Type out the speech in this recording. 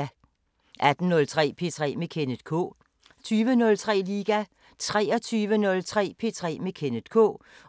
18:03: P3 med Kenneth K 20:03: Liga 23:03: P3 med Kenneth K